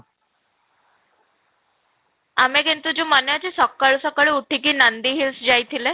ଆମେ କିନ୍ତୁ ଯଉ ମାନେ ଅଛି ସକାଳୁ ସକାଳୁ ଉଠିକି ଯଉ ନନ୍ଦୀ hills ଯାଇଥିଲେ